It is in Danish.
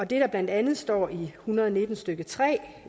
det der blandt andet står i § en hundrede og nitten stykke tre